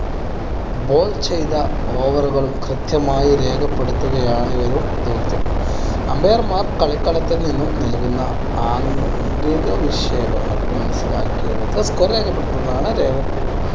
bowl ചെയ്ത over കൾ കൃത്യമായി രേഖപ്പെടുത്തുകയാണ് ഒരു ദൗത്യം. umpire മാർ കളിക്കളത്തിൽ നിന്നും നൽകുന്ന ആംഗ്യ മനസ്സിലാക്കിയെടുത്ത് score രേഖപ്പടുത്തുന്നതാണ്